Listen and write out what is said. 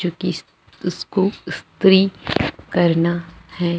जो की उसको स्त्री करना है।